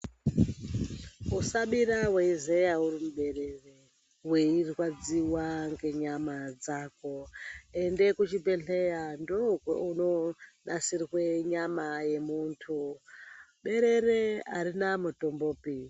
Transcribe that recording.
Usabira weizeya urimuberere weirwadziwa ngenyama dzako ende kuchibhedhlera ndokunanisirwa nyama yemundu berere arina mutombopi.